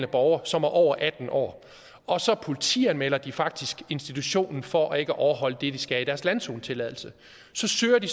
borgere som er over atten år og så politianmelder de faktisk institutionen for ikke at overholde det de skal i deres landzonetilladelse så søger de